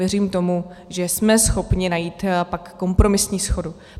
Věřím tomu, že jsme schopni najít pak kompromisní shodu.